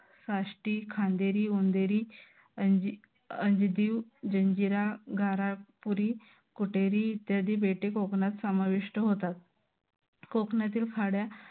काष्टी खांदेरी वंदेरी अंजिदीव जंजिरा घारापुरी कुटेरी इत्यादी बेटे कोकणात समाविष्ट होतात. कोकणातील खाड्या